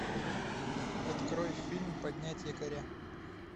открой фильм поднять якоря